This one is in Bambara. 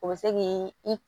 O bɛ se k'i i